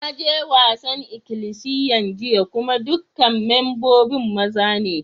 Na je wasan ikilisiyan jiya kuma dukan membobin maza ne.